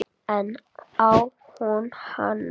En á hún annan kost?